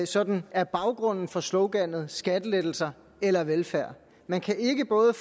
sådan er baggrunden for sloganet skattelettelser eller velfærd man kan ikke både